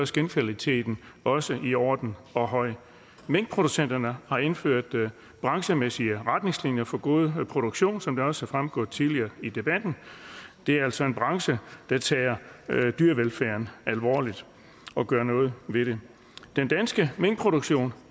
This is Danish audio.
skindkvaliteten også i orden og høj minkproducenterne har indført branchemæssige retningslinjer for god produktion som det også er fremgået tidligere i debatten det er altså en branche der tager dyrevelfærden alvorligt og gør noget ved det den danske minkproduktion